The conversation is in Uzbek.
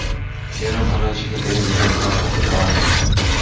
Erim ‘Falonchining eri’ degan gapni ko‘tara olmaydi.